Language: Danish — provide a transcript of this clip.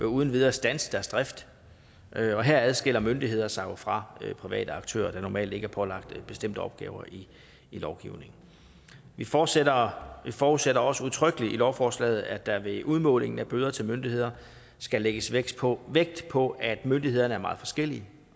uden videre standse deres drift og her adskiller myndigheder sig jo fra private aktører der normalt ikke er pålagt bestemte opgaver i lovgivningen vi forudsætter forudsætter også udtrykkeligt i lovforslaget at der ved udmålingen af bøden til myndigheder skal lægges vægt på vægt på at myndighederne er meget forskellige